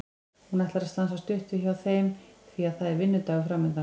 Hún ætlar að stansa stutt við hjá þeim því að það er vinnudagur framundan.